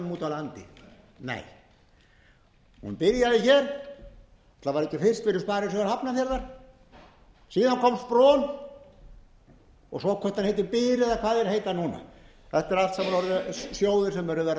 landi nei hún byrjaði hér var það ekki fyrst fyrir sparisjóð hafnarfjarðar síðan kom spron og svo hvort hann heitir byr eða hvað þeir heita núna þetta eru allt saman sjóðir sem munu verða skráðir